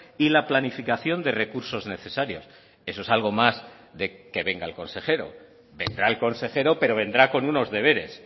y la planificación de recursos necesarios eso es algo más de que venga el consejero vendrá el consejero pero vendrá con unos deberes